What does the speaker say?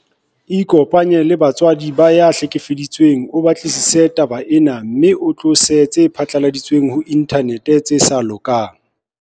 Ikopanye le batswadi ba ya hlekefetsang o batlisise taba ena mme o tlose tse phatlaladitsweng ho inthanete tse sa lokang.